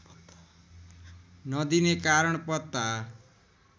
नदिने कारण पत्ता